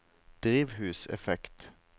drivhuseffekt